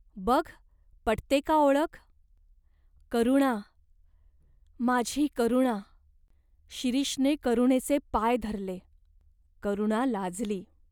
बघ पटते का ओळख ?" "करुणा, माझी करुणा !" शिरीषने करुणेचे पाय धरले. करुणा लाजली.